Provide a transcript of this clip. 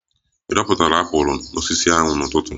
Ị dọpụtara apụl n'osisi ahụ n'ụtụtụ?